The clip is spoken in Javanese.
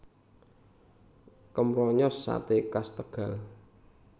Kemronyos Sate khas Tegal